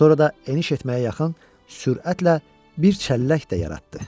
Sonra da eniş etməyə yaxın sürətlə bir çəllək də yaratdı.